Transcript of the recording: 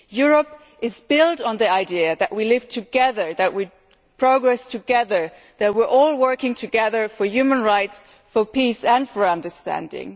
Europe is built on the idea that we live together, that we progress together and that we are all working together for human rights, peace and understanding.